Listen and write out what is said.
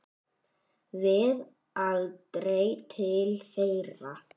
Við aldrei til þeirra.